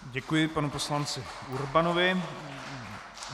Děkuji panu poslanci Urbanovi.